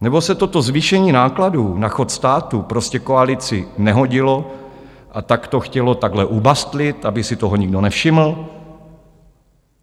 Nebo se toto zvýšení nákladů na chod státu prostě koalici nehodilo, a tak to chtěla takhle ubastlit, aby si toho nikdo nevšiml?